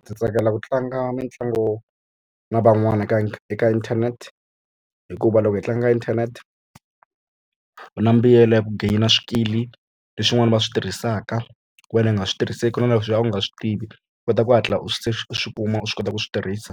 Ndzi tsakela ku tlanga mitlangu na van'wana eka eka internet hikuva loko hi tlanga internet u na mbuyelo ya ku gainer swikili leswin'wana va swi tirhisaka wena i nga swi tirhiseki na leswi a wu nga swi tivi swi kota ku hatla u swi se swi kuma u swi kota ku swi tirhisa